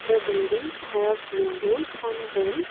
The buildings have windows on them.